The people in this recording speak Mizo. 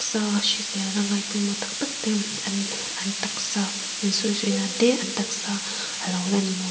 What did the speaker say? sa hriselna ngai pawimawh tak tak ten an taksa sawizawi nan te an taksa alo lan mawi --